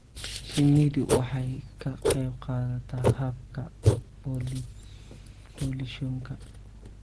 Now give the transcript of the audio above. Shinnidu waxay ka qaybqaadataa habka pollination-ka.